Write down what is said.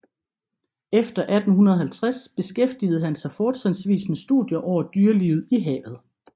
Efter 1850 beskæftigede han sig fortrinsvis med studier over dyrelivet i havet